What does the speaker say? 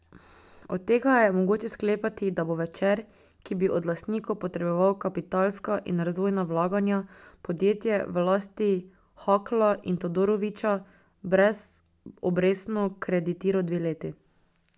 Iz tega je mogoče sklepati, da bo Večer, ki bi od lastnikov potreboval kapitalska in razvojna vlaganja, podjetje v lasti Hakla in Todorovića brezobrestno kreditiral dve leti.